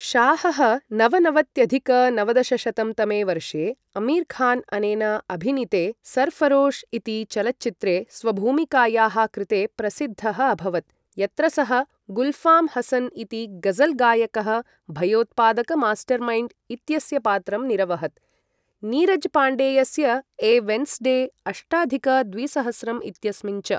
शाहः नवनवत्यधिक नवदशशतं तमे वर्षे अमीर खान अनेन अभिनीते सरऴरोश इति चलच्चित्रे स्वभूमिकायाः कृते प्रसिद्धः अभवत्, यत्र सः गुल्फ़ाम हसन इति ग़ज़ल गायकः भयोत्पादक मास्टरमाइण्ड् इत्यस्य पात्रं निरवहत्, नीरज पाण्डेयस्य ए वेन्स्डे अष्टाधिक द्विसहस्रं इत्यस्मिन् च।